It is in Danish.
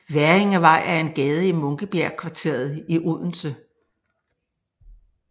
Hverringevej er en gade i Munkebjergkvarteret i Odense